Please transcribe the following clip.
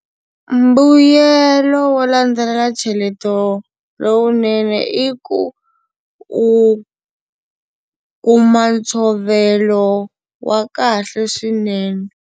Mbuyelo wo landzelela ncheleto lowunene i ku u kuma ntshovelo wa kahle swinene.